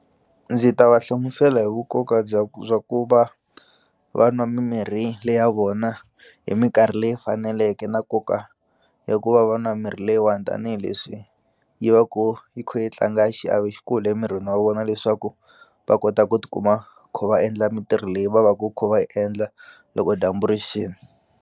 Ndzi ta va hlamusela hi vu nkoka bya bya ku va va nwa mimirhi le ya vona hi minkarhi leyi faneleke na nkoka hikuva va nwa mirhi leyiwani tanihileswi yi va ku yi kho yi tlanga xiave xikulu emirini wa vona leswaku va kota ku tikuma kha va endla mintirho leyi va va ku kho va yi endla loko dyambu rixini.